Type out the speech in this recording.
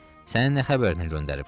Səninə xəbərini göndəriblər?